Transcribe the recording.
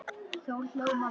Þá hló mamma.